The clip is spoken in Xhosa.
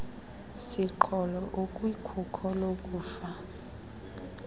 siqholo ukwikhuko lokufa